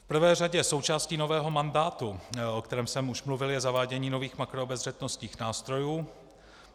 V prvé řadě součástí nového mandátu, o kterém jsem už mluvil, je zavádění nových makroobezřetnostních nástrojů.